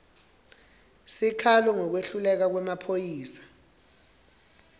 sikhalo ngekwehluleka kwemaphoyisa